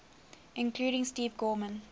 including steve gorman